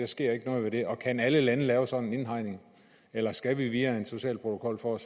sker noget ved det og kan alle lande lave sådan en indhegning eller skal vi via en social protokol for